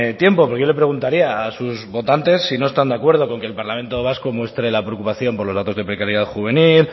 tiempo pero yo le preguntaría a sus votantes si no están de acuerdo con que el parlamento vasco muestre la preocupación por los datos de precariedad juvenil